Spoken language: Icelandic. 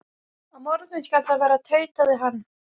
Á morgun skal það verða, tautaði hann.